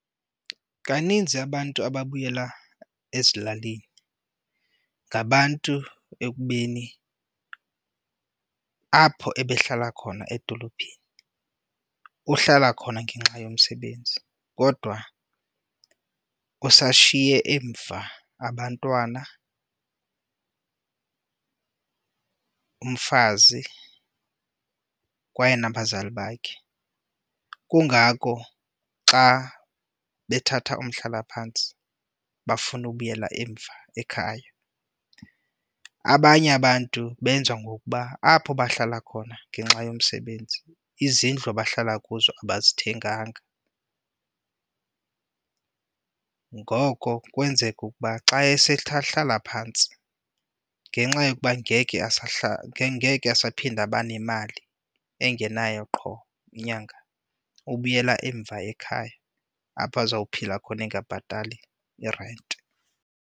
Kaninzi abantu ababuyela ezilalini ngabantu ekubeni apho ebehlala khona edolophini, uhlala khona ngenxa yomsebenzi kodwa usashiye emva abantwana, umfazi kwaye nabazali bakhe. Kungako xa bethatha umhlalaphantsi bafuna ubuyela emva ekhaya. Abanye abantu benza ngokuba apho bahlala khona ngenxa yomsebenzi izindlu abahlala kuzo abazithenganga, ngoko kwenzeke ukuba xa esethe ahlala phantsi ngenxa yokuba ngeke ngeke asaphinda abe nemali engenayo qho nyanga, ubuyela emva ekhaya apho azawuphila khona engabhatali irenti.